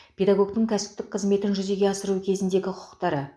педагогтің кәсіптік қызметін жүзеге асыру кезіндегі құқықтары